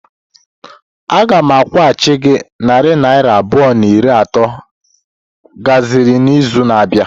Aga m akwụghachi gị narị naira abụọ na iri atọ m gbaziri n'izu na-abịa.